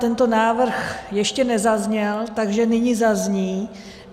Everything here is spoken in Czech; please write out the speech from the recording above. Tento návrh ještě nezazněl, takže nyní zazní.